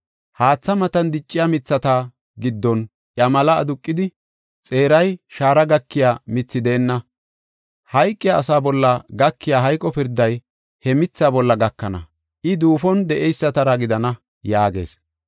Haatha matan dicciya mithata giddon iya mela aduqidi, xeeray shaara gakiya mithi deenna. Hayqiya asa bolla gakiya hayqo pirday he mithaa bolla gakana; I duufon de7eysatara gidana” yaagees.